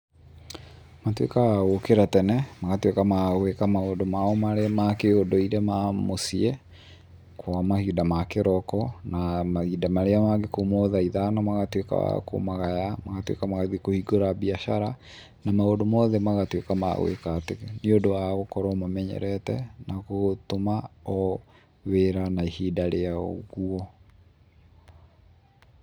Matuĩkaga a gũkĩra tene, magatuĩka ma gwĩka maũndũ mao ma kĩũndũire ma mũciĩ, kwa mahinda ma kĩroko, na mahinda marĩa mangĩ kuma o thaa ithano, magatuĩka a kumagara, magatuĩka magathiĩ kũhingũra biacara, na maũndũ mothe magatuĩka ma gwĩka atĩ, nĩũndũ wa gũkorwo mamenyerete na gũtũma o wĩra na ihinda rĩa ũguo.